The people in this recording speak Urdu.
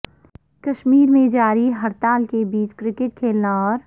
کشمیر میں جاری ہڑتال کے بیچ کرکٹ کھیلنا اور